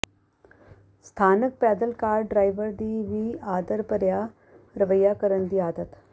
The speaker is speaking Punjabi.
ਸਥਾਨਕ ਪੈਦਲ ਕਾਰ ਡਰਾਈਵਰ ਦੀ ਵੀ ਆਦਰ ਭਰਿਆ ਰਵੱਈਆ ਕਰਨ ਦੀ ਆਦਤ